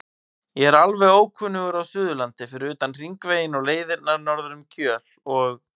Ég er alveg ókunnugur á Suðurlandi fyrir utan Hringveginn og leiðirnar norður um Kjöl og